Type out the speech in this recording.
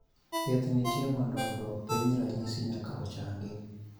thieth nitie mondo oduok piny ranyisi nyaka ochangi